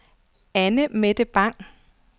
Anne-Mette Bang